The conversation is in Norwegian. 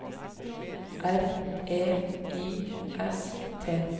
R E I S T